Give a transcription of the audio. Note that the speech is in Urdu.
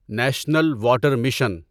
national water mission